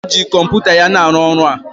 Nkechi ji kọmpụta ya na aru ọrụ a.